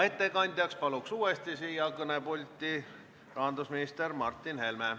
Ettekandjaks palun uuesti siia kõnepulti rahandusminister Martin Helme.